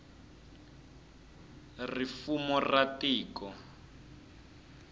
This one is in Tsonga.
ri fumo ra tiko